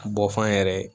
Bɔ f'an yɛrɛ ye